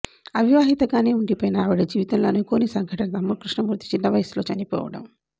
అవివాహితగానే వుండిపోయిన ఆవిడ జీవితంలో అనుకొని సంఘటన తమ్ముడు కృష్ణమూర్తి చిన్నవయసులో చనిపోవడం